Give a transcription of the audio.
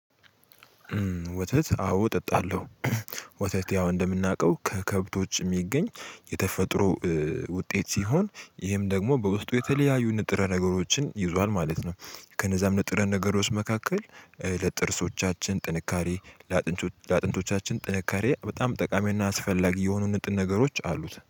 ወተት አዎ እጠጣለሁ። ወተት ያው እንደምናውቀው ከከብቶች የሚገኝ የተፈጥሮ ውጤት ሲሆን ይሄም ደግሞ በውስጡ የተለያዩ ንጥረ ነገሮችን ይዟል ማለት ነው። ከነዛም ንጥረ ነገሮች መካከል ለጥርሶቻችን ጥንካሬ ለአጠንቶቻችን ለአጥንቶቻችን ጥንካሬ በጣም ጠቃሚና አስፈላጊ የሆኑ ንጥን ነገሮች አሉት